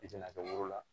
I tɛna kɛ woro la